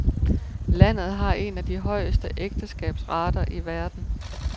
Landet har en af de højeste ægteskabsrater i verden.